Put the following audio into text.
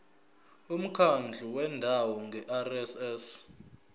umkhandlu wendawo ngerss